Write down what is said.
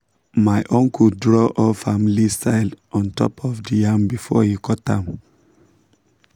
my uncle draw old family sign on top the yam before he cut am.